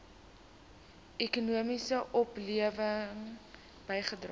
ekonomiese oplewing bygedra